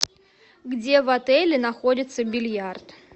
где в отеле находится бильярд